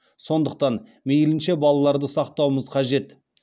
сондықтан мейлінше балаларды сақтауымыз қажет